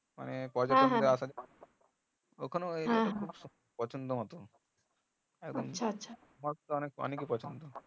মানে ওখানে অনেক এর পছন্দ